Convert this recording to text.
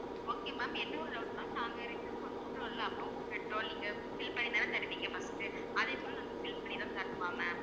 okay ma'am இன்னும் ஒரு doubt ma'am நாங்க return கொண்டு விடரோம் இல்ல அப்புறம் petrol நீங்க fill பண்ணி தான தருவீங்க first உ அதே போல நாங்க fill பண்ணி தான் தரணுமா ma'am